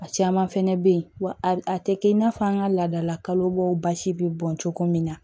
A caman fɛnɛ be yen wa a tɛ kɛ i n'a fɔ an ka laadalakalo bɔw basi bɛ bɔn cogo min na